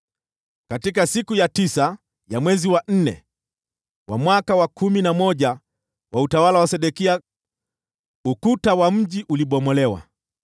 Katika siku ya tisa ya mwezi wa nne wa mwaka wa kumi na moja wa utawala wa Sedekia, ukuta wa mji ulibomolewa.